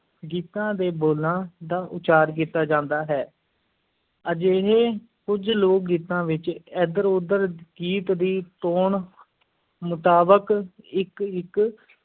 ਗੀਤਾਂ ਦੇ ਬੋਲਾਂ ਦਾ ਉਚਾਰ ਕੀਤਾ ਜਾਂਦਾ ਹੈ ਅਜਿਹੇ ਕੁਝ ਲੋਕ-ਗੀਤਾਂ ਵਿੱਚ ਏਧਰ-ਉਧਰ ਗੀਤ ਦੀ ਟੋਨ ਮੁਤਾਬਕ ਇੱਕ-ਇੱਕ